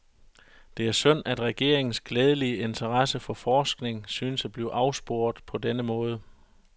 Det er synd at regeringens glædelige interesse for forskning synes at blive afsporet på denne måde.